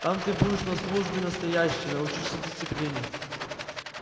там ты будешь на службе настоящей научишься дисциплине